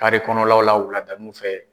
kɔnɔlaw la wuladanuw fɛ.